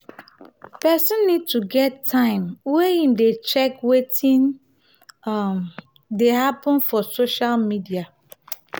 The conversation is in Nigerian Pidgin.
person need to get time wey im dey check wetin um dey happen for social media